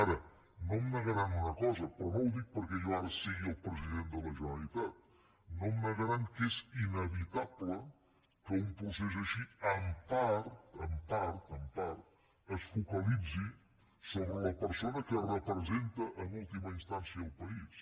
ara no em negaran una cosa però no ho dic perquè jo ara sigui el president de la generalitat no em negaran que és inevitable que un procés així en part en part en part es focalitzi sobre la persona que representa en última instància el país